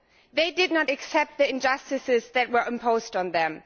They did not accept the injustices that were imposed on them.